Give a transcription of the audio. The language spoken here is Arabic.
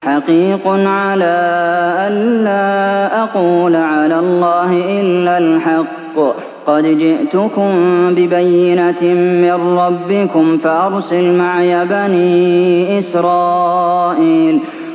حَقِيقٌ عَلَىٰ أَن لَّا أَقُولَ عَلَى اللَّهِ إِلَّا الْحَقَّ ۚ قَدْ جِئْتُكُم بِبَيِّنَةٍ مِّن رَّبِّكُمْ فَأَرْسِلْ مَعِيَ بَنِي إِسْرَائِيلَ